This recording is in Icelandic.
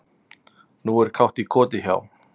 Nú er kátt í koti hjá